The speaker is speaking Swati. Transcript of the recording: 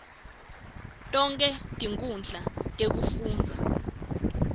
tonkhe tinkhundla tekufundza